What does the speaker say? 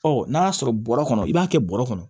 Ɔ n'a y'a sɔrɔ bɔrɔ kɔnɔ i b'a kɛ bɔrɛ kɔnɔ